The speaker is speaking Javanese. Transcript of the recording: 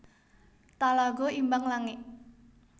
Talago Imbang Langik